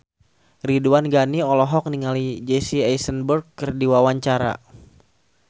Ridwan Ghani olohok ningali Jesse Eisenberg keur diwawancara